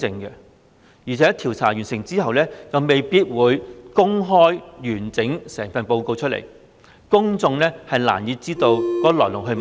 而且調查完成後，亦未必會公開完整報告，公眾難以知道事情的來龍去脈。